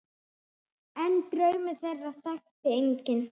En draum þeirra þekkti enginn.